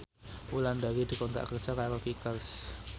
Wulandari dikontrak kerja karo Kickers